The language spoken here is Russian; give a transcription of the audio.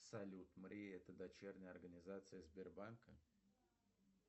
салют мрия это дочерняя организация сбербанка